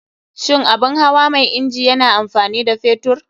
Shin abun hawa mai inji yana amfani da fetur?